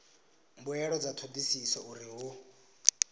mbuelo dza thodisiso uri hu